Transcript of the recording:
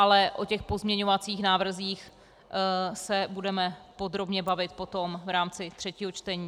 Ale o těch pozměňovacích návrzích se budeme podrobně bavit potom v rámci třetího čtení.